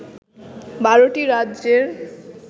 ১২ টি রাজ্যের